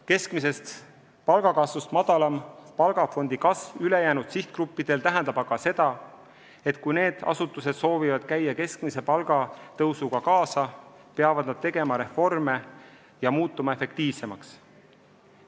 Keskmisest palgakasvust madalam palgafondi kasv ülejäänud sihtgruppidel tähendab aga seda, et kui need asutused soovivad käia keskmise palgatõusuga kaasas, peavad nad tegema reforme ja muutuma efektiivsemaks.